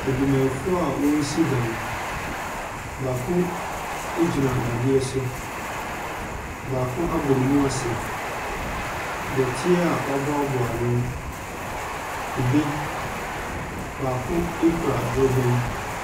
Adwumayɛfoɔ a wɔresi dan, baako gyina dadeɛ so, baako abɔ ne mu ase. Dɔteɛ a wɔaboaboa ano, kube, baako kura dorobɛn.